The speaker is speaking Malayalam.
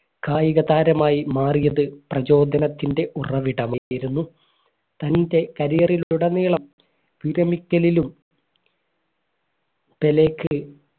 കായിക താരമായി മാറിയത് പ്രചോദനത്തിന്റെ ഉറവിടമായിരുന്നു തൻറെ career ൽ ഉടനീളം വിരമിക്കലിലും പെലെക്ക്